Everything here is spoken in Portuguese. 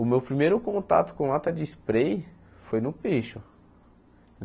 O meu primeiro contato com lata de spray foi no picho.